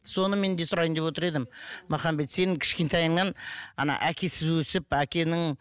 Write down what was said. соны мен де сұрайын деп отыр едім махамбет сенің кішкентайыңнан әкесіз өсіп әкенің